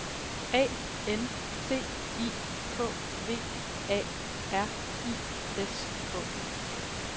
A N T I K V A R I S K